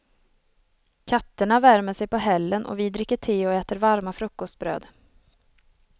Katterna värmer sig på hällen och vi dricker te och äter varma frukostbröd.